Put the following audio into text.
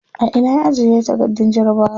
A ina ya ajiye takardun jarabawa?